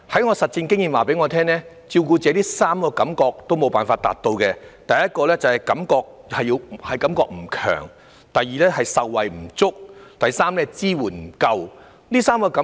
我的實戰經驗告訴我，照顧者在3方面感到缺失：第一是"感覺不強"、第二是"受惠不足"、第三是"支援不夠"。